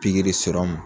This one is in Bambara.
Pikiri